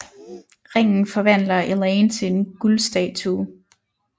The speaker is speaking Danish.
Ringen forvandler Elaine til en guld statue